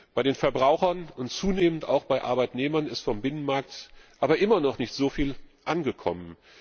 Bei den Verbrauchern und zunehmend auch bei den Arbeitnehmern ist vom Binnenmarkt aber immer noch nicht so viel angekommen.